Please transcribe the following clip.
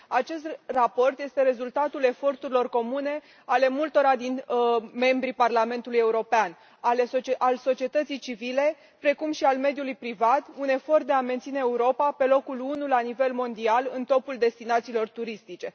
Acest raport este rezultatul eforturilor comune ale multora din membrii Parlamentului European, ale societății civile, precum și ale mediului privat, un efort de a menține Europa pe locul unu la nivel mondial în topul destinațiilor turistice.